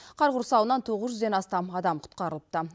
қар құрсауынан тоғыз жүзден астам адам құтқарылыпты